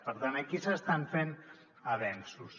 per tant aquí s’estan fent avenços